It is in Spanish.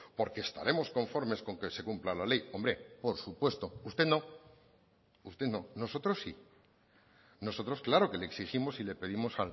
porque estaremos conformes con que se cumpla la ley hombre por supuesto usted no usted no nosotros sí nosotros claro que le exigimos y le pedimos